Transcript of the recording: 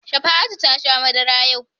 Shafa'atu ta sha madara yau.